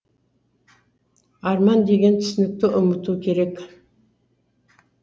арман деген түсінікті ұмыту керек